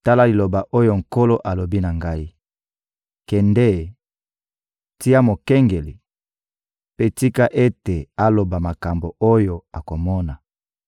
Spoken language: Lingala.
Tala liloba oyo Nkolo alobi na ngai: «Kende, tia mokengeli; mpe tika ete aloba makambo oyo akomona.